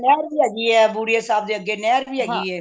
ਨਹਿਰ ਵੀ ਹੈਗੀ ਏ ਬੁੜੀ ਆਂ ਸਾਹਿਬ ਦੇ ਅੱਗੇ ਨਹਿਰ ਵੀ ਹੈਗੀ ਏ